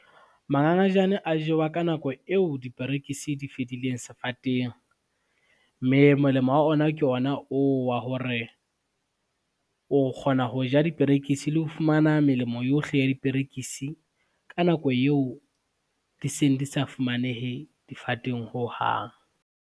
Mangangajane a jewa ka nako eo diperekisi di fedileng sefateng, mme molemo wa ona ke ona oo wa hore, o kgona ho ja diperekisi le ho fumana melemo yohle ya diperekisi ka nako yeo di seng di sa fumanehe difateng hohang.